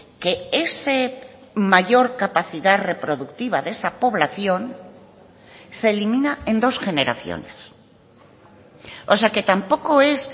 que ese mayor capacidad reproductiva de esa población se elimina en dos generaciones o sea que tampoco es